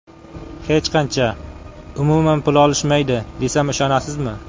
Hech qancha, umuman, pul olishmaydi, desam ishonasizmi?